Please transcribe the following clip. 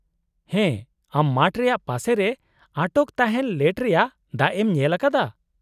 -ᱦᱮᱸ, ᱟᱢ ᱢᱟᱴᱷ ᱨᱮᱭᱟᱜ ᱯᱟᱥᱮ ᱨᱮ ᱟᱴᱚᱠ ᱛᱟᱦᱮᱱ ᱞᱮᱴ ᱨᱮᱭᱟᱜ ᱫᱟᱜ ᱮᱢ ᱧᱮᱞ ᱟᱠᱟᱫᱟ ?